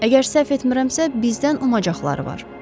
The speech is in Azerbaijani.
Əgər səhv etmirəmsə, bizdən umacaqları var.